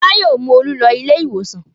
Fọlá yóò mú Olú lọ ilé-ìwòsàn.